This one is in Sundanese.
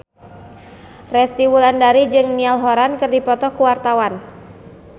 Resty Wulandari jeung Niall Horran keur dipoto ku wartawan